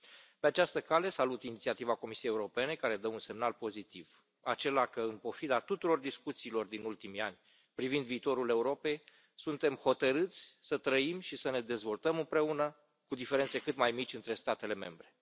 Pe această cale, salut inițiativa Comisiei Europene, care dă un semnal pozitiv, acela că, în pofida tuturor discuțiilor din ultimii ani privind viitorul Europei, suntem hotărâți să trăim și să ne dezvoltăm împreună, cu diferențe cât mai mici între statele membre.